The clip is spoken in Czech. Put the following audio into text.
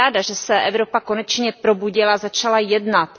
Jsem ráda, že se Evropa konečně probudila, začala jednat.